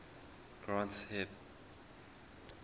granth hib